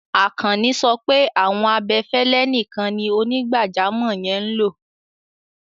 Akànní sọ pé awọn abẹ̀fẹ̀lẹ̀ níkàń ní onígbàjàmọ̀ yẹn n lọ.